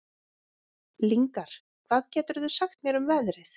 Lyngar, hvað geturðu sagt mér um veðrið?